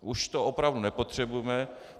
Už to opravdu nepotřebujeme.